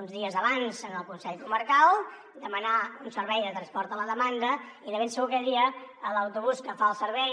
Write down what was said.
uns dies abans al consell comarcal demanar un servei de transport a la demanda i de ben segur aquell dia a l’autobús que fa el servei